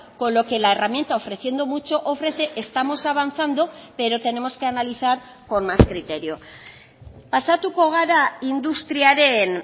con lo que la herramienta ofreciendo mucho ofrece estamos avanzando pero tenemos que analizar con más criterio pasatuko gara industriaren